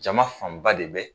Jama fanba de bɛ